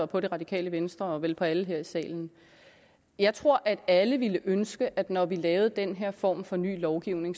på det radikale venstre og på vel alle her i salen jeg tror at alle ville ønske at vi når vi lavede den her form for ny lovgivning